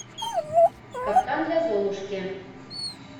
капкан для золушки